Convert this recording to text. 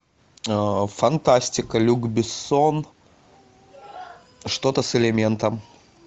фантастика люк бессон что то с элементом